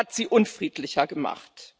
Er hat sie unfriedlicher gemacht.